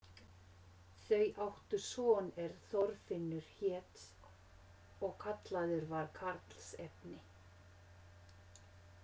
Þau áttu son er Þorfinnur hét og kallaður var karlsefni.